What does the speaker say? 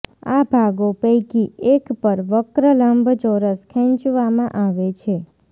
આ ભાગો પૈકી એક પર વક્ર લંબચોરસ ખેંચવામાં આવે છે